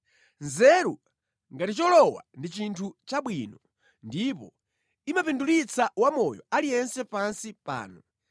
Nzeru ngati cholowa, ndi chinthu chabwino ndipo imapindulitsa wamoyo aliyense pansi pano.